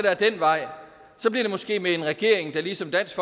ad den vej bliver det måske med en regering der ligesom dansk